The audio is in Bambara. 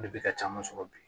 O de bɛ ka caman sɔrɔ bi